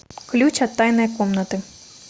ключ от тайной комнаты